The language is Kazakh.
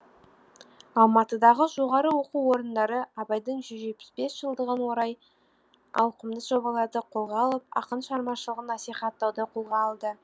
алматыдағы жоғарғы оқу орындары абайдың жүз жетпіс бес жылдығын орай ауқымды жобаларды қолға алып ақын шығармашылығын насихаттауды қолға алды